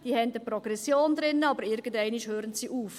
diese haben eine Progression drin, aber irgendwann hören sie auf.